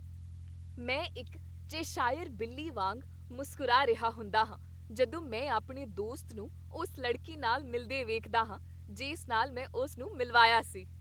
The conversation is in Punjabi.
ਮੈਂ ਇੱਕ ਚੈਸ਼ਾਇਰ ਬਿੱਲੀ ਵਾਂਗ ਮੁਸਕਰਾ ਰਿਹਾ ਹੁੰਦਾ ਹਾਂ ਜਦੋਂ ਮੈਂ ਆਪਣੇ ਦੋਸਤ ਨੂੰ ਉਸ ਲੜਕੀ ਨਾਲ ਮਿਲਦੇ ਵੇਖਦਾ ਹਾਂ ਜਿਸ ਨਾਲ ਮੈਂ ਉਸ ਨੂੰ ਮਿਲਵਾਇਆ ਸੀ।